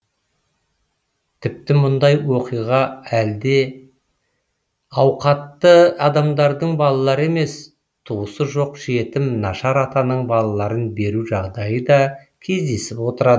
тіпті мұндай оқуға әлді ауқатты адамдардың балалары емес туысы жоқ жетім нашар атаның балаларын беру жағдайы да кездесіп отырады